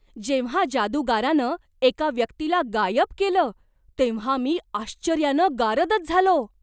जेव्हा जादूगारानं एका व्यक्तीला गायब केलं तेव्हा मी आश्चर्यानं गारदच झालो!